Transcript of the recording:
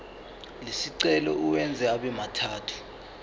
lesicelo uwenze abemathathu